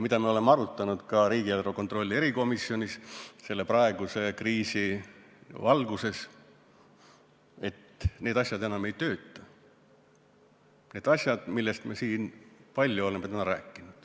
Me oleme arutanud ka riigieelarve kontrolli erikomisjonis selle praeguse kriisi valguses, et need asjad enam ei tööta, need asjad, millest me siin palju oleme täna rääkinud.